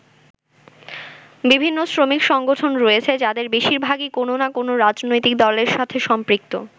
বিভিন্ন শ্রমিক সংগঠন রয়েছে যাদের বেশিরভাগই কোন না কোন রাজনৈতিক দলের সাথে সম্পৃক্ত।